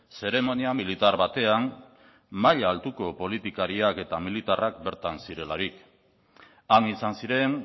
zeremonia militar batean maila altuko politikariak eta militarrak bertan zirelarik han izan ziren